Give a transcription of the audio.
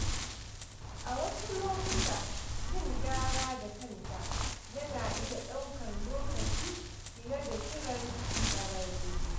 A wasu lokuta, yin gyara da kanka yana iya ɗaukar lokaci fiye da kiran ƙwararre.